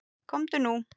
Komdu nú.